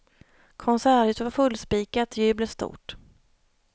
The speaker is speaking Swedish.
Konserthuset var fullspikat, jublet stort.